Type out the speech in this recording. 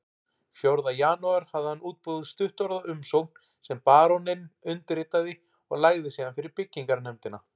Fjórða janúar hafði hann útbúið stuttorða umsókn sem baróninn undirritaði og lagði síðan fyrir byggingarnefndina